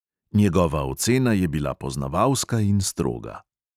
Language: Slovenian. Njegova ocena je bila poznavalska in stroga.